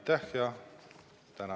Tänan!